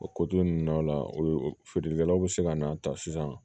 O ko ninnu na feerelikɛlaw be se ka na ta sisan